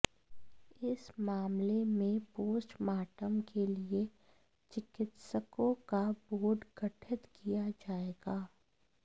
इस मामले में पोस्टमार्टम के लिए चिकित्सकों का बोर्ड गठित किया जाएगा